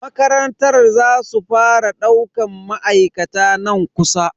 Makarantar za su fara daukan ma'aikata nan kusa.